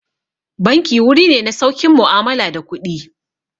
Banki wuri ne na saukin mu'amala da kuɗi.